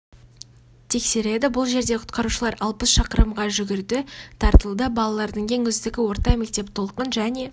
тексереді бұл жерде құтқарушылар алпыс шақырымға жугірді тартылды балалардың ең үздігі орта мектеп толқын және